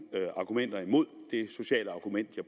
argumenter imod det sociale argument